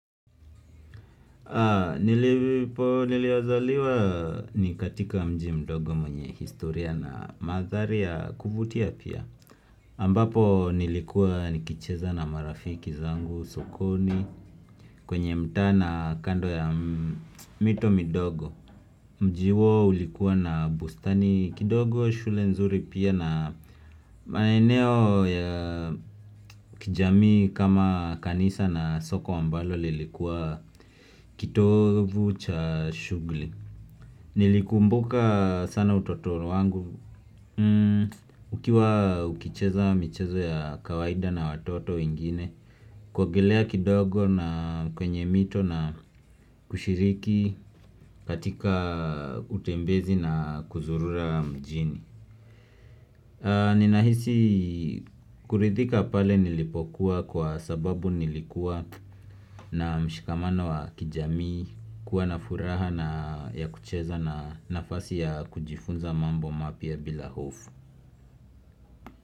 Nilipo nilizaliwa ni katika mji mdogo mwenye historia na mandhari ya kuvutia pia. Ambapo nilikuwa nikicheza na marafiki zangu sokoni. Kwenye mtaa na kando ya mito midogo. Mji huo ulikuwa na bustani kidogo shule nzuri pia na maeneo ya kijamii kama kanisa na soko ambalo lilikuwa kitovu cha shughuli. Nilikumbuka sana utoto wangu. Ukiwa ukicheza mchezo ya kawaida na watoto wengine. Kuogelea kidogo na kwenye mito na kushiriki katika utembezi na kuzurura mjini. Ninahisi kuridhika pale nilipokuwa kwa sababu nilikuwa na mshikamano wa kijamii. Kuwa na furaha na ya kucheza na nafasi ya kujifunza mambo mapya bila hofu.